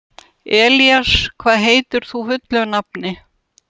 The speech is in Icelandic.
Elías, hvað heitir þú fullu nafni?